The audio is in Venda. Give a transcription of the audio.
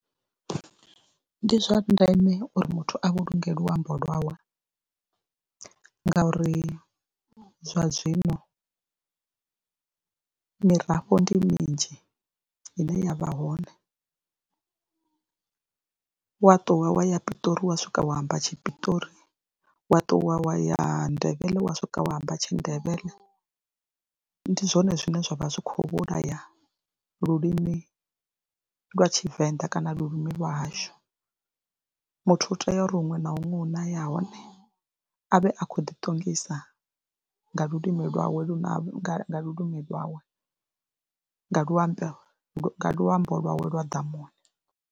Ndi zwa ndeme uri muthu a vhulunge luambo lwawe ngauri zwa zwino mirafho ndi minzhi ine ya vha hone, wa ṱuwa wa ya Piṱori wa swika wa amba tshipiṱori, wa ṱuwa wa ya ndevhele wa swika wa amba tshindevhele ndi zwone zwine zwa vha zwi khou vhulaya lulimi lwa Tshivenḓa kana lulimi lwa hashu, muthu u tea uri huṅwe na huṅwe hu na ya hone a vhe a khou ḓiṱongisa nga lulimi lwawe lune ha, nga lulimi lwawe nga luambo nga luambo lwawe lwa ḓamuni.